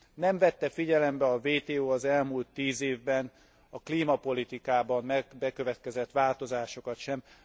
Nem vette figyelembe a WTO az elmúlt tíz évben a klímapolitikában bekövetkezett változásokat sem.